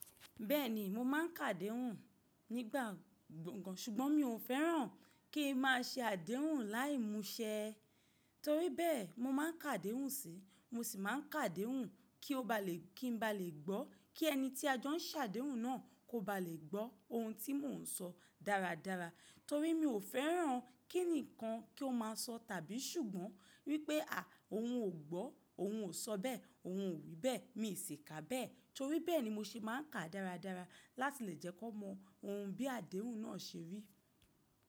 Bẹ́ẹ̀ni mo ma ń kà ádéhùn nígbà gbọ̀ngàn ṣùgbọ́n mi ò fẹ́ràn kí ń má a ṣe àdéhùn láì musẹ torí bẹ́ẹ̀ mo ma ń kà ádéhùn sí i mo sì má a n kà ádéhùn kí n ba lè gbọ́ kí ẹni tí a jọ n sàdéhùn náà kò ba lè gbọ́ ohun tí mò ń sọ dáradára torí mi ò fẹ́ràn kí ǹkan kí ó má a sọ tàbí ṣùgbọ́n wípé à ohun ò gbọ́ ohun ò sọ bẹ́ẹ̀ ohun ò wí bẹ́ẹ̀ mi sì kà á bẹ́ẹ̀ torí bẹ́ẹ̀ ni mo ṣe máa ń kà á dáradára láti lè jẹ́ kó mọ ohun bí àdéhùn náà se rí.